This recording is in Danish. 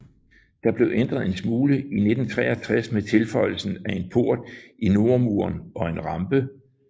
Den blev ændret en smule i 1963 med tilføjelsen af en port i nordmuren og en rampe